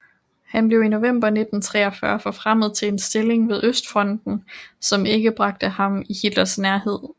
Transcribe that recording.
Han blev i november 1943 forfremmet til en stilling ved Østfronten som ikke bragte ham i Hitlers nærhed